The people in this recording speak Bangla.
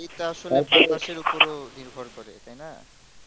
ইটা আসলে উপরও নিভর করে